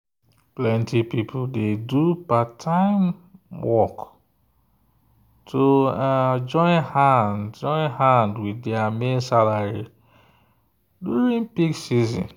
plenty people dey do part-time work to join hand with their main salary during peak season.